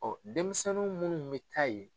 denmisɛnni minnu bɛ taa ye.